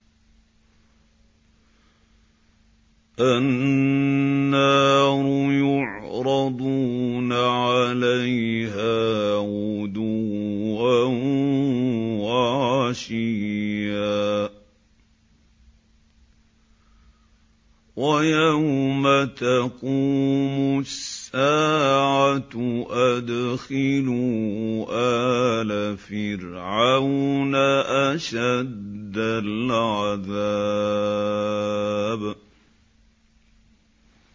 النَّارُ يُعْرَضُونَ عَلَيْهَا غُدُوًّا وَعَشِيًّا ۖ وَيَوْمَ تَقُومُ السَّاعَةُ أَدْخِلُوا آلَ فِرْعَوْنَ أَشَدَّ الْعَذَابِ